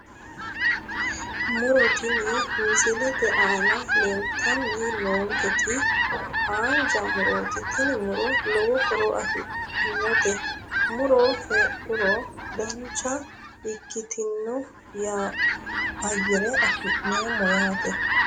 Muro tini misilete aana leeltnni noonketi haanja murooti tini muro lowo horo afidhinote muro heedhuro dancha ikkitino ayyare afi'neemmo yaate